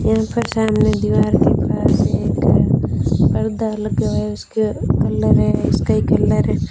इनके सामने दीवार के पास एक पर्दा लगा है उसका कलर है स्काई कलर है।